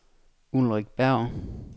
Ulrik Berg